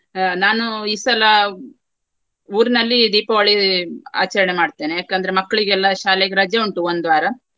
ಆ ನಾನು ಈ ಸಲ ಊರಿನಲ್ಲಿ ದೀಪಾವಳಿ ಆಚರಣೆ ಮಾಡ್ತೇನೆ ಯಾಕಂದ್ರೆ ಮಕ್ಕಳಿಗೆಲ್ಲ ಶಾಲೆಗೆ ರಜೆ ಉಂಟು ಒಂದು ವಾರ.